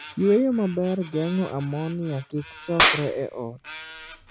Yweyo maber geng'o ammonia kik chongre e ot.